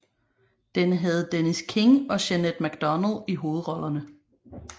Den havde Dennis King og Jeanette MacDonald i hovedrollerne